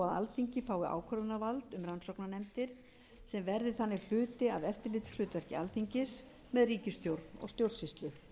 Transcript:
alþingi fái ákvörðunarvald um rannsóknarnefndir sem verði þannig hluti af eftirlitshlutverki alþingis með ríkisstjórn og stjórnsýslu